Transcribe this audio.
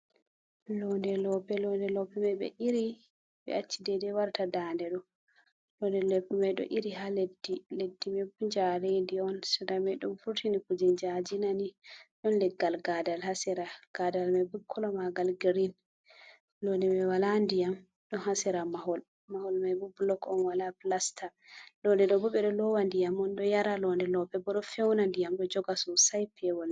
Londe lope, londe lope mai ɓe iri ɓe achi dai dai warata dande ɗo, londe lope mai ɗo iri ha leddi, leddi mai bo jarendi on, sera mai ɗo furtini kuje jaji na ni, ɗon leggal gadal ha sera, gadal mai bo kolo magal grin, londe mai wala ndiyam ɗo ha sera mahol, mahol mai bo blok on wala plasta, londe lope ɓe ɗo lowa ndiyam on ɗo yara londe lope bo ɗo fewna ndiyam ɗo joga sosai pewol.